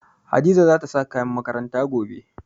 Hadiza za ta sa kayan makaranta gobe.